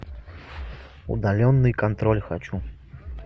удаленный контроль хочу